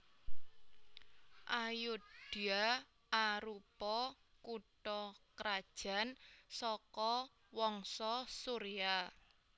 Ayodhya arupa kutha krajan saka wangsa Surya